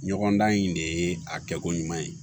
Ɲɔgɔn dan in de ye a kɛko ɲuman ye